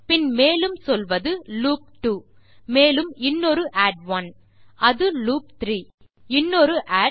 பின் மேலும் சொல்வது லூப் 2 மேலும் இன்னொரு ஆட் 1 அது லூப் 3160 இன்னொரு ஆட்